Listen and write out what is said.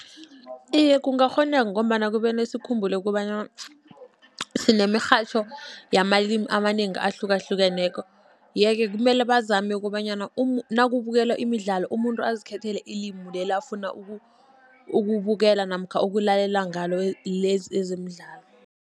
Iye, kungakghoneka ngombana kumele sikhumbule kobana sinemirhatjho yamalimi amanengi ahlukahlukeneko., ye-ke kumele bazame kobanyana nakubukelwa imidlalo, umuntu azikhethele ilimi leli afuna ukubukela namkha ukulalela ngalo lezi ezemidlalo.